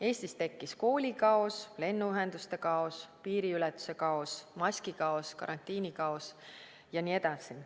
Eestis tekkis koolikaos, lennuühenduste kaos, piiriületuse kaos, maskikaos, karantiinikaos jne.